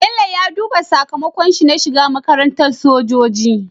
Bello ya duba sakamakon shi na shiga makarantar sojoji